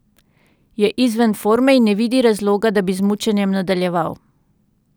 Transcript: Je izven forme in ne vidi razloga, da bi z mučenjem nadaljeval.